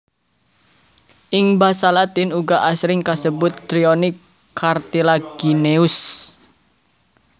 Ing basa latin uga asring kasebut Trionyx cartilagineus